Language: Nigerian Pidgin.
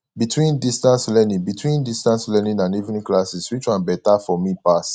between distance learning between distance learning and evening classes which one better for me pass